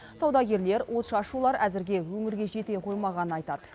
саудагерлер отшашулар әзірге өңірге жете қоймағанын айтады